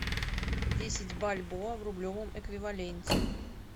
десять бальбоа в рублевом эквиваленте